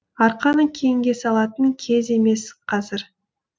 арқаны кеңге салатын кез емес қазір